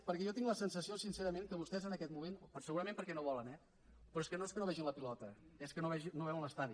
perquè jo tinc la sensació sincerament que vostès en aquest moment segurament perquè no volen eh però és que no és que no vegin la pilota és que no veuen l’estadi